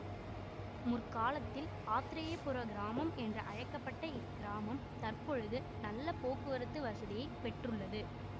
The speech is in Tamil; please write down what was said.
முற்காலத்தில் ஆத்ரேயபுரக்கிராமம் என்று அழைக்க பட்ட இக்கிராமம் தற்பொழுது நல்ல போக்குவரத்து வசதியைப் பெற்றுள்ளது